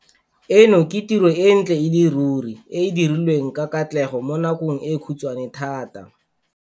Eno ke tiro e ntle e le ruri e e dirilweng ka katlego mo nakong e khutshwane thata.